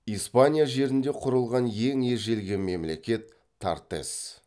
испания жерінде құрылған ең ежелгі мемлекет тартесс